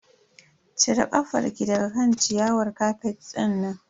Cire kafar ki daga kan ciyawar kafet dinnan.